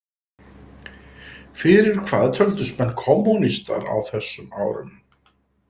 Fyrir hvað töldust menn kommúnistar á þessum árum?